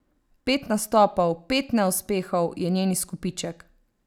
Pet nastopov, pet neuspehov, je njen izkupiček.